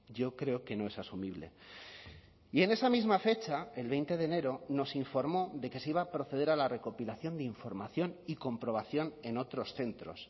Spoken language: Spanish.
yo creo que no es asumible y en esa misma fecha el veinte de enero nos informó de que se iba a proceder a la recopilación de información y comprobación en otros centros